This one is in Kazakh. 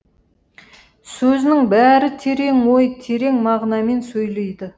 сөзінің бәрі терең ой терең мағынамен сөйлейді